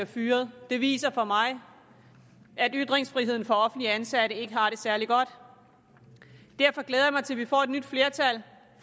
fyret det viser for mig at ytringsfriheden for offentligt ansatte ikke har det særlig godt derfor glæder jeg mig til at vi får et nyt flertal